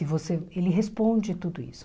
E você ele responde tudo isso.